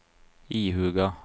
ihuga